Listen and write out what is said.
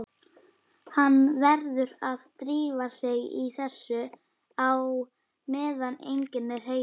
Hann verður að drífa sig í þetta á meðan enginn er heima.